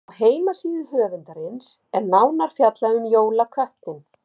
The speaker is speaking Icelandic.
Á heimasíðu höfundarins er nánar fjallað um jólaköttinn.